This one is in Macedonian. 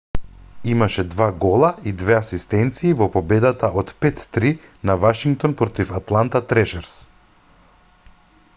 имаше 2 гола и 2 асистенции во победата од 5-3 на вашингтон против атланта трешерс